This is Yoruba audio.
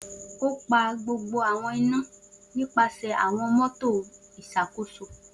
O si pa gbogbo awọn ina nipasẹ awọn motor Iṣakoso